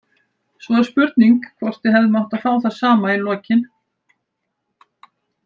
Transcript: Svo er spurning hvort við hefðum átt að fá það sama í lokin.